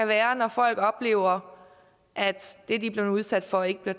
være når folk oplever at det de er blevet udsat for ikke bliver